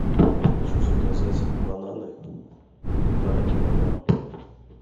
хочу заказать бананы полтора килограмма